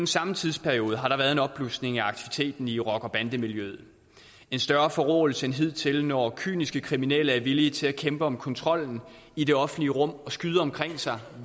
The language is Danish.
samme tidsperiode har der været en opblusning af aktiviteten i rocker bande miljøet en større forråelse end hidtil når kyniske kriminelle er villige til at kæmpe om kontrollen i det offentlige rum og skyder omkring sig